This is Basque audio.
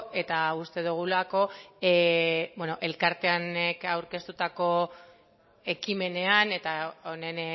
eta uste dugulako elkarteanek aurkeztutako ekimenean eta honen